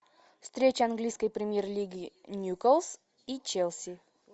встреча английской премьер лиги ньюкасл и челси